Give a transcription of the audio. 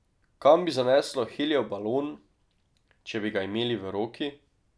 Kam bi zaneslo helijev balon, če bi ga imeli v roki?